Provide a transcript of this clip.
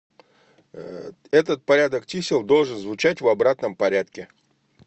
этот порядок чисел должен звучать в обратном порядке